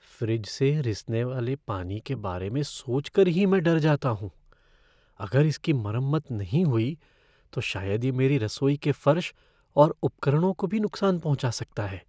Fridge से रिसने वाले पानी के बारे में सोच कर ही मैं डर जाता हूँ। अगर इसकी मरम्मत नहीं हुई तो शायद यह मेरी रसोई के फर्श और उपकरणों को भी नुकसान पहुँचा सकता है।